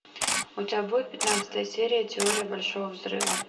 у тебя будет пятнадцатая серия теория большого взрыва